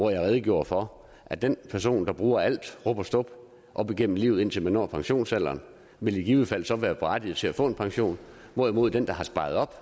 redegjorde for at den person der bruger alt rub og stub op igennem livet indtil man når pensionsalderen vil i givet fald så være berettiget til at få pension hvorimod den der har sparet op